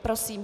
Prosím.